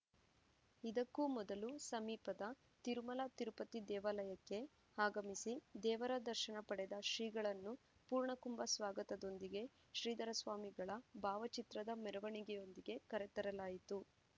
ಇದಕ್ಕೂ ಮೊದಲು ಸಮೀಪದ ತಿರುಮಲ ತಿರುಪತಿ ದೇವಾಯಕ್ಕೆ ಆಗಮಿಸಿ ದೇವರದರ್ಶನ ಪಡೆದ ಶ್ರೀಗಳನ್ನು ಪೂರ್ಣಕುಂಬ ಸ್ವಾಗತದೊಂದಿಗೆ ಶ್ರೀಧರ ಸ್ವಾಮಿಗಳ ಭಾವಚಿತ್ರದ ಮೆರವಣಿಗೆಯೊಂದಿಗೆ ಕರೆತರಲಾಯಿತು